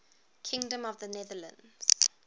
kingdom of the netherlands